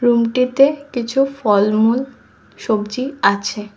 রুমটিতে কিছু ফলমূল সবজি আছে।